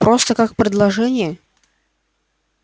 просто как предложение